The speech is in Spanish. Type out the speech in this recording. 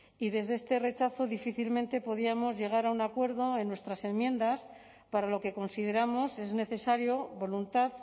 y desde este rechazo difícilmente podíamos llegar a un acuerdo en nuestras enmiendas para lo que consideramos es necesario voluntad